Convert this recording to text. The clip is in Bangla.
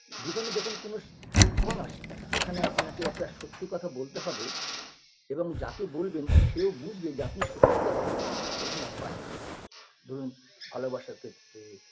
জীবনে যখন কোনোস ক্ষণ আসে যেখানে আপনাকে একটা সত্যি কথা বলতে হবে এবং যাকে বলবেন সেও বুঝবে যে আপনি সত্যি কথা বলছেন এরকম হয় কখনো কখনো ধরুন ভালোবাসার ক্ষেত্রে